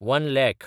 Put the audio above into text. one lakh